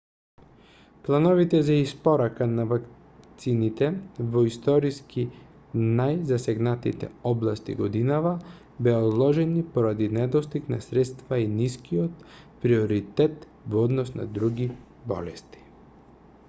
плановите за испорака на вакцините во историски најзасегнатите области годинава беа одложени поради недостиг на средства и нискиот приоритет во однос на други болести